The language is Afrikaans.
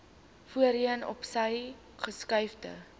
voorheen opsy geskuifde